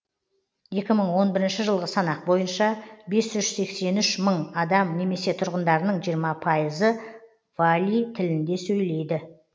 екі мың он бірінші жылғы санақ бойынша бес жүз сексен үш мың адам немесе тұрғындардың жиырма пайызы валий тілінде сөйлейді